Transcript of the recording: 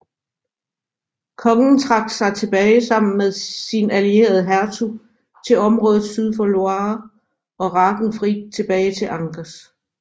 Kongen trak sig tilbage sammen med sin allierede hertug til området syd for Loire og Ragenfrid tilbage til Angers